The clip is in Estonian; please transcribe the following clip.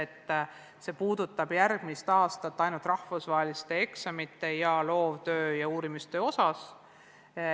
Järgmist aastat puudutab see korraldus ainult rahvusvaheliste eksamite, loovtöö ja uurimistöö osas.